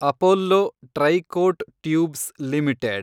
Apollo Tricoat tubes limited